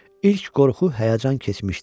İlk qorxu, həyəcan keçmişdi.